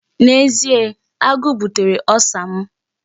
N'ezie, agụụ butere Ulcer m.